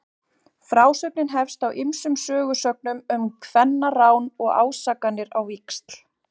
Frásögnin hefst á ýmsum sögusögnum um kvennarán og ásakanir á víxl.